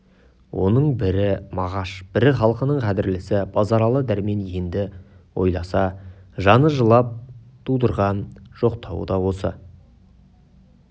оның бірі мағаш бірі халқының қадірлісі базаралы дәрмен енді ойласа жаны жылап тудырған жоқтауы да осы